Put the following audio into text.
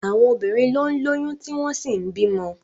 Àwọn obìnrin ló ń lóyún tí wọ́n sì ń bímọ.